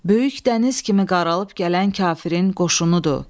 Böyük dəniz kimi qaralıb gələn kafirin qoşunudur.